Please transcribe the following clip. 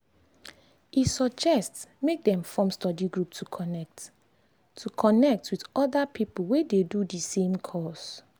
e suggest make dem form study group to connect to connect with other people wey dey do the same course.